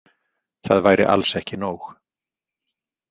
Það væri alls ekki nóg.